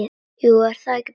Jú, er það ekki bara?